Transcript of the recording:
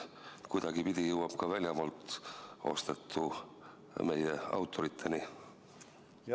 Kas kuidagipidi jõuab ka väljamaalt ostetu meie autoriteni?